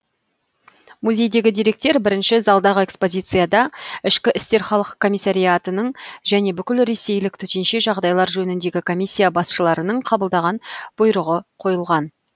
музейдегі деректер бірінші залдағы экспозицияда ішкі істер халық комиссариятының және бүкілресейлік төтенше жағдайлар жөніндегі комиссия басшыларының қабылдаған бұйрығы қойылған